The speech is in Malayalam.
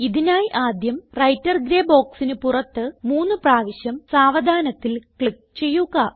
ഇതിനായി ആദ്യം വ്രൈട്ടർ ഗ്രേ ബോക്സിന് പുറത്ത് മൂന്ന് പ്രാവശ്യം സാവധാനത്തിൽ ക്ലിക്ക് ചെയ്യുക